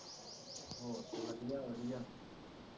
ਹੋਰ ਕੀ ਵਧੀਆ ਵਧੀਆ